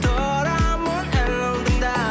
тұрамын әлі алдыңда